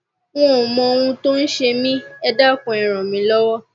n ò mọ ohun tó ń ṣe mí ẹ dákun ẹ ràn mí lọwọ